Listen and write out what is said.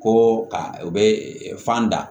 Ko ka u bɛ fan da